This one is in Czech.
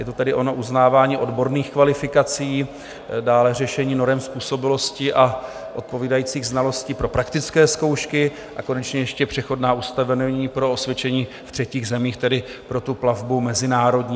Je to tedy ono uznávání odborných kvalifikací, dále řešení norem způsobilosti a odpovídajících znalostí pro praktické zkoušky, a konečně ještě přechodná ustanovení pro osvědčení v třetích zemích, tedy pro tu plavbu mezinárodní.